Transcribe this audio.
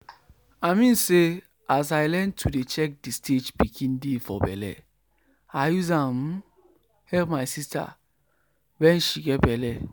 to dey sabi know the stage um pikin dey for bellego save you save you from plenty wahala and fear wen you get belle.